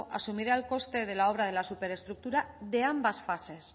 asumirá el coste de la obra de la superestructura de ambas fases